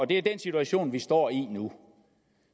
det er den situation vi står i nu